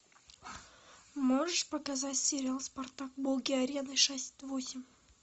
можешь показать сериал спартак боги арены шесть восемь